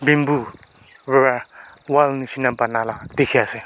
bamboo wra wall nishina banala dikhiase.